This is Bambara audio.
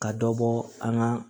Ka dɔ bɔ an ka